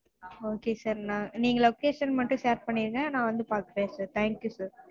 okay sir நா நீங்க location மட்டும் share பண்ணிருங்க நா வந்துப்பாக்கறேன் sir thank you sir